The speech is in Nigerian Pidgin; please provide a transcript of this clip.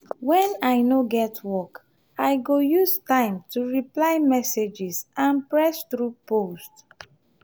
when i no get work i go use time to reply messages and press through posts.